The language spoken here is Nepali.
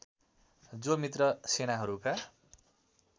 जो मित्र सेनाहरूका